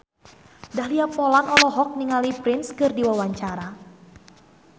Dahlia Poland olohok ningali Prince keur diwawancara